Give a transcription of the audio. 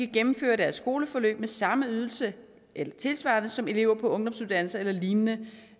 gennemføre deres skoleforløb med samme ydelse eller tilsvarende som elever på ungdomsuddannelser eller lignende